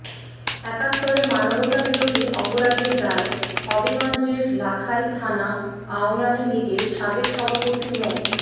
একাত্তরে মানবতাবিরোধী অপরাধের দায়ে হবিগঞ্জের লাখাই থানা আওয়ামী লীগের সাবেক সভাপতি মো